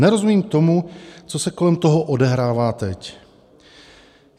Nerozumím tomu, co se kolem toho odehrává teď.